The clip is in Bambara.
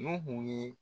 N'u ye